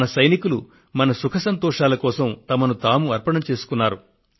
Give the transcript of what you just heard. మన సైనికులు మన సుఖ సంతోషాల కోసం వారిని వారు అర్పణం చేస్తున్నారు